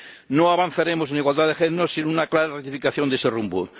No avanzaremos en igualdad de género sin una clara rectificación de ese rumbo.